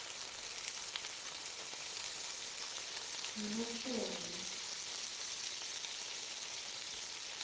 ngu nl shongwe